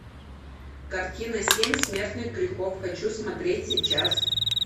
картина семь смертных грехов хочу смотреть сейчас